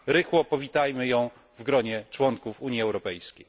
Rychło powitamy ją w gronie członków Unii Europejskiej.